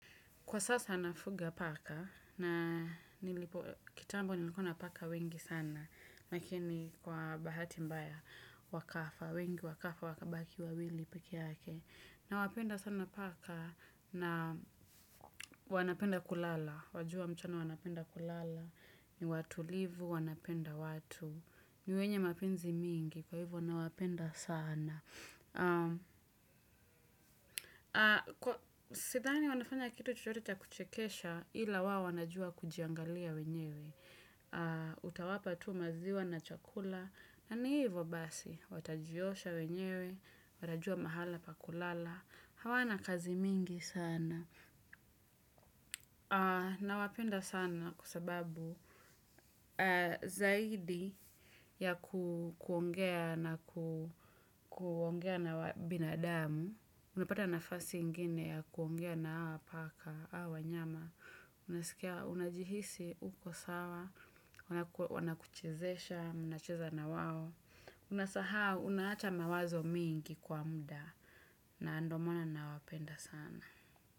Kwa sasa nafuga paka na kitambo nilikuwa na paka wengi sana. Lakini kwa bahati mbaya wakafa, wengi wakafa wakabaki wawili pekee yake. Nawapenda sana paka na wanapenda kulala. Wajua mchana wanapenda kulala. Ni watulivu, wanapenda watu. Ni wenye mapenzi mingi, kwa hivo nawapenda sana. Kwa sidhani wanafanya kitu chochote cha kuchekesha ila wao wanajua kujiangalia wenyewe. Utawapa tu maziwa na chakula. Na ni hivo basi, watajiosha wenyewe, watajua mahala pa kulala. Hawana kazi mingi sana. Nawapenda sana kwa sababu zaidi ya kuongea na kuongea na binadamu. Unapata nafasi ingine ya kuongea na hawa paka, hawa wanyama. Unasikia, unajihisi uko sawa, wanakuchezesha, mnacheza na wao. Unasahau, unaacha mawazo mingi kwa muda. Na ndo maana nawapenda sana.